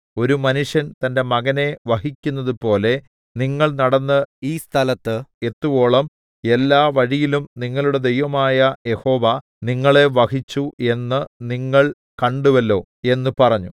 ഒരു മനുഷ്യൻ തന്റെ മകനെ വഹിക്കുന്നതുപോലെ നിങ്ങൾ നടന്ന് ഈ സ്ഥലത്ത് എത്തുവോളം എല്ലാ വഴിയിലും നിങ്ങളുടെ ദൈവമായ യഹോവ നിങ്ങളെ വഹിച്ചു എന്ന് നിങ്ങൾ കണ്ടുവല്ലോ എന്ന് പറഞ്ഞു